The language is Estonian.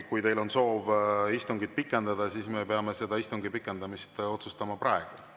Kui teil on soov istungit pikendada, siis me peame seda istungi pikendamist otsustama praegu.